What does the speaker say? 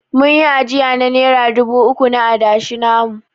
Mun yi ajiya na nera dubu uku na adashi namu.